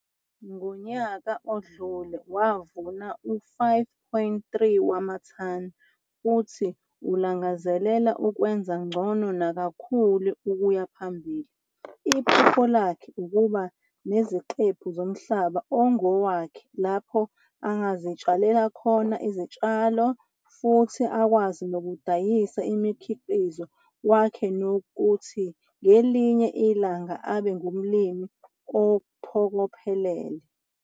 Ngonyaka odlule wavuna u-5,3 wamathani futhi ulangazelela ukwenza ngcono nakakhulu ukuya phambili. Iphupho lakhe ukuba nesiqephu somhlaba ongowakhe lapho angazitshalela khona izitshalo futhi akwazi nokudayisa umkhiqizo wakhe nokuthi ngelinye ilanga abe ngumlimi ophokophelele.